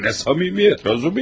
Bu nə səmimiyyətdir, Razumixin?